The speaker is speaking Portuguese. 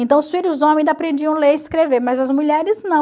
Então, os filhos homens aprendiam a ler e escrever, mas as mulheres não.